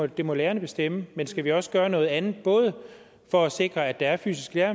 det må lærerne bestemme men skal vi også gøre noget andet både for at sikre at der er fysiske